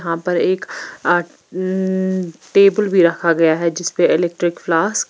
यहाँ पर एक आ अं टेबल भी रखा गया है जिसपे इलेक्ट्रिक फ्लास्क --